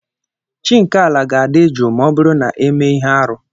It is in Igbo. Chi nke ala ga-adị jụụ ma ọ bụrụ na emee ihe arụ.